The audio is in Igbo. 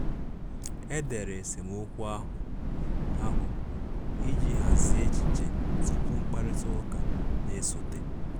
E dere esemokwu ahụ ahụ iji hazie echiche tupu mkparịta ụka na-esote.